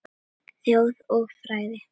Þjóð og fræði